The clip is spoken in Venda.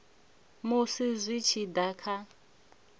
musi zwi tshi da kha